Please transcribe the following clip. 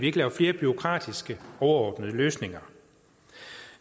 ikke laver flere bureaukratiske overordnede løsninger